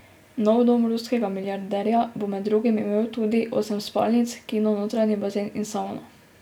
Nov dom ruskega milijarderja bo med drugim imel tudi imel osem spalnic, kino, notranji bazen in savno.